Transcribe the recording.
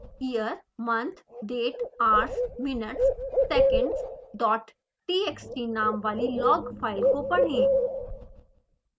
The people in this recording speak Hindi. year month date hours minutes seconds dot txt नाम वाली log फाइल को पढ़ें